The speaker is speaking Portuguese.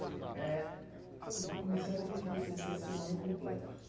eh, por favor, para começar, eu queria que você dissesse seu nome completo.